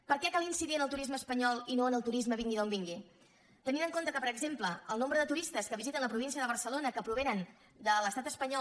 per què cal incidir en el turisme espanyol i no en el turisme vingui d’on vingui tenint en compte que per exemple el nombre de turistes que visiten la província de barcelona que provenen de l’estat espanyol